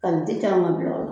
Kanute k'an ka bila o la.